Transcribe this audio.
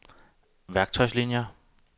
værktøjslinier